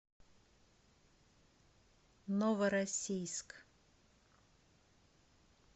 новороссийск